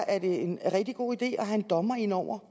at det er en rigtig god idé at have en dommer ind over